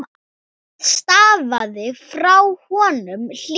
Það stafaði frá honum hlýju.